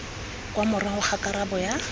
kwa morago ga karabo ya